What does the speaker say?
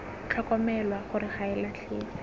tlhokomelwa gore ga e latlhege